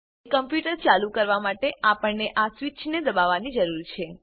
computer ચાલુ કરવા માટે આપણને આ સ્વીચને દબાવવાની જરૂર છે